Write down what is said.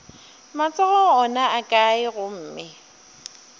matsogo ona a kae gomme